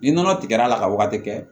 Ni nɔnɔ tigɛra ka wagati kɛ